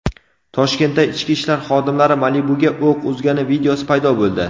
Toshkentda ichki ishlar xodimlari "Malibu"ga o‘q uzgani videosi paydo bo‘ldi.